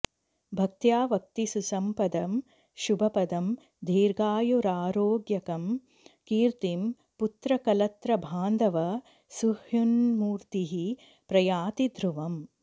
भक्त्या वक्ति सुसम्पदं शुभपदं दीर्घायुरारोग्यकं कीर्तिं पुत्रकलत्रबान्धवसुहृन्मूर्तिः प्रयाति ध्रुवम्